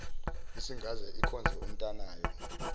isingaze ikhonze umntanayo